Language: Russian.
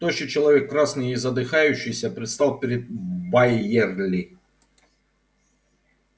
тощий человек красный и задыхающийся предстал перед байерли